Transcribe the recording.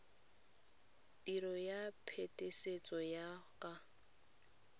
tiro ya phetisetso ya ka